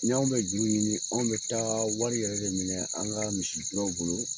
N'i anw bɛ juru ɲini , an bɛ taa wari yɛrɛ de minɛ, an ka misi duraw bolo